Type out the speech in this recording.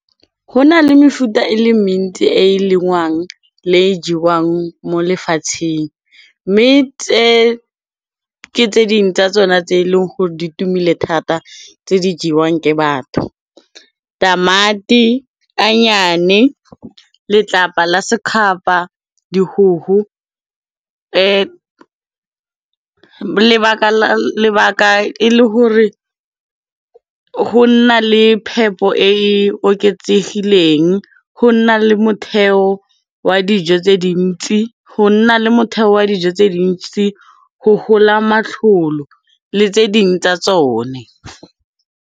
Ho na le mefuta e le mentsi e e lengwang le e jewang mo lefatsheng, mme tse ke tse ding tsa tsona tse e leng gore di tumile thata tse di jewang ke batho, tamati, anyeane, letlapa la sekgapa, dihuhu. Lebaka e le hore ho na le phepo e e oketsegileng, ho na le motheo wa dijo tse dintsi, ho hola matlolo le tse ding tsa tsone.